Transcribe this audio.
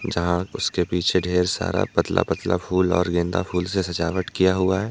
जहां उसके पीछे ढेर सारा पतला पतला फूल और गेंदा फूल से सजावट किया हुआ है ।